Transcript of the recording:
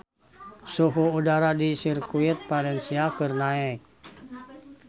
Suhu udara di Sirkuit Valencia keur naek